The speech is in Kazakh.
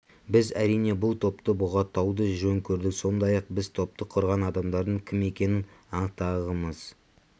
біз әрине бұл топты бұғаттауды жөн көрдік сондай-ақ біз топты құрған адамдардың кім екенін анықтағымыз